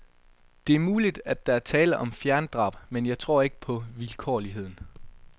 Det er muligt, der er tale om fjerndrab, men jeg tror ikke på vilkårligheden.